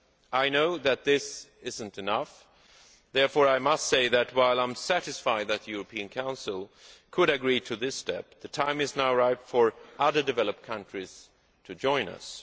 I know that this is not enough. Therefore I must say that, while I am satisfied that the European Council could agree to this step, the time is now ripe for other developed countries to join us.